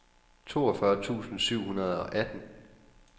toogfyrre tusind syv hundrede og atten